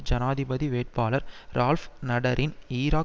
ஜனாதிபதி வேட்பாளர் ரால்ப் நடரின் ஈராக்